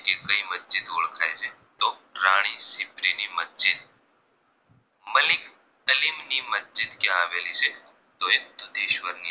મસ્જિદ ક્યાં આવેલી છે તો એ દુધેશ્વર ની